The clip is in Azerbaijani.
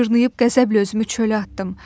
Mən cırnıyıb qəzəblə özümü çölə atdım.